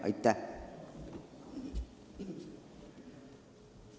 Aitäh!